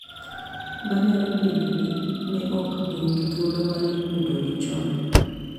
Ma nyalo bedo ni ne ok gin gi thuolo mar yudogi chon.